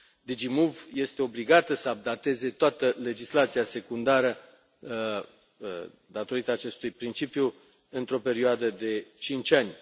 DG MOVE este obligată să updateze toată legislația secundară, datorită acestui principiu, într o perioadă de cinci ani.